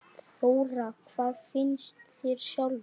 Þóra: Hvað finnst þér sjálfum?